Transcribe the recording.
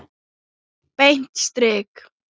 Beint strik!